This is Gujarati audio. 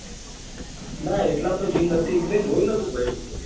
ના એટલામાં તો gym નાતુ જોયું નાતુ કાઈ.